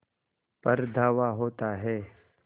पर धावा होता है